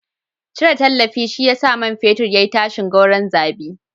Cire tallafi shi ya sa man fetur ya yi tashin gordon zabi.